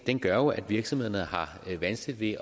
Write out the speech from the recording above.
gør jo at virksomhederne har vanskeligt